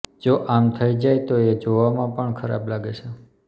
જો આમ થઇ જાય તો એ જોવામાં પણ ખરાબ લાગે છે